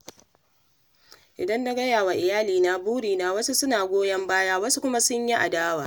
Idan na gaya wa iyalina burina, wasu suna goyon baya, wasu kuma su yi adawa.